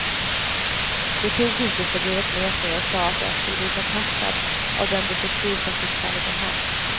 De tog hotelsebrevet med sig och sade att jag skulle bli kontaktad av den detektiv som fick fallet om hand.